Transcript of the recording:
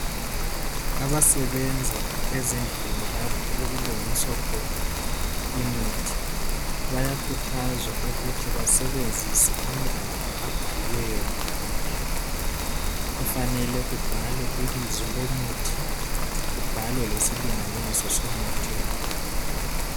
Abasebenza ezindlini lapho okulungiswa khona imithi bayakhuthazwa ukuthi basebenzise amagabha abhaliweyo ngaphandle. Kufanelwe kubhalwe ibizo lomuthi kubhalwe lesilinganiso somuthi wakhona.